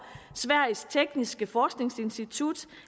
sveriges tekniska forskningsinstitut